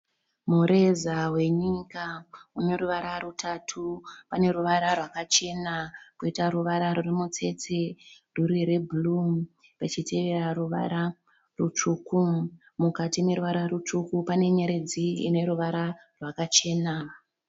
Mureza wenyika uneruvara rutatu. Paneruvara rwakachena poita ruvara rurimutsetse ruri rwebhuruu pachitevera ruvara rutsvuku. Mukati meruvara rutsvuku pane nyeredzi ineruvara rwakachena.